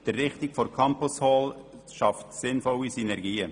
Die Errichtung der Campus Hall schafft sinnvolle Synergien.